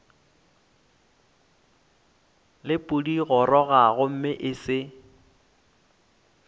le pudigoroga gomme e se